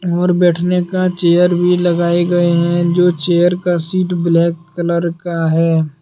और बैठने का चेयर भी लगाए गए हैं जो चेयर का सीट ब्लैक कलर का है।